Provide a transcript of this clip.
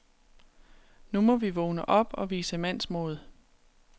Nu må vi vågne op og vise mandsmod.